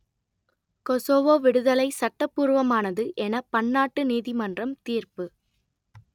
Kosovo விடுதலை சட்டபூர்வமானது என பன்னாட்டு நீதிமன்றம் தீர்ப்பு